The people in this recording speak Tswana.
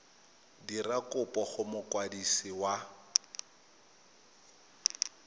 dira kopo go mokwadisi wa